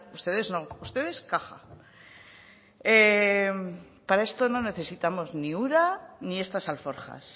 ustedes no ustedes caja para esto no necesitamos ni ura ni estas alforjas